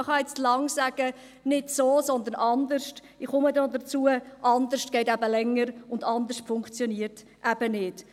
Man kann jetzt lange sagen: «Nicht so, sondern anders» – ich komme noch dazu – «anders» geht eben länger und «anders» funktioniert eben nicht.